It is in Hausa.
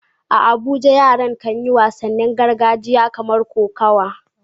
A Abuja yara kan yi wasannin gargajiya kamar kokawa.